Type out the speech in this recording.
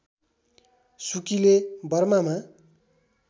सुकीले बर्मामा